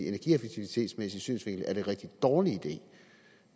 energieffektivitetsmæssig synsvinkel er en rigtig dårlig idé